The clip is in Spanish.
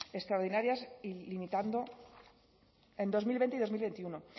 extraordinarias y limitando en dos mil veinte y dos mil veintiuno